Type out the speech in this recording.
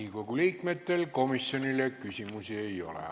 Riigikogu liikmetel komisjoni esindajale küsimusi ei ole.